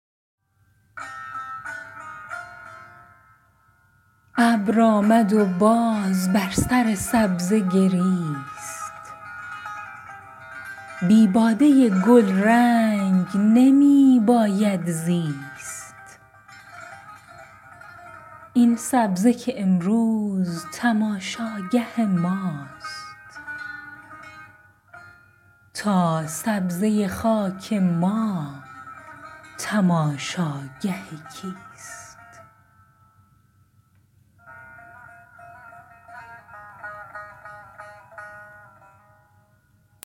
ابر آمد و باز بر سر سبزه گریست بی باده گلرنگ نمی باید زیست این سبزه که امروز تماشاگه ماست تا سبزه خاک ما تماشاگه کیست